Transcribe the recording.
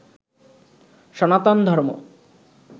সনাতন ধর্ম